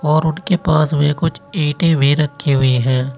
और उनके पास में कुछ ईंटे भी रखी हुई हैं।